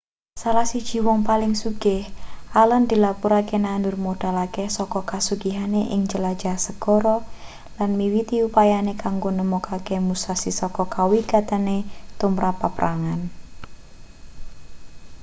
salah siji wong paling sugih allen dilapurake nandur modal akeh saka kasugihane ing jelajah segara lan miwiti upayane kanggo nemokake musashi saka kawigatene tumrap paprangan